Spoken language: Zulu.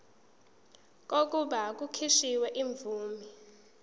kokuba kukhishwe imvume